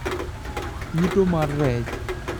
Yuto mar rech